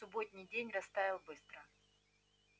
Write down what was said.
субботний день растаял быстро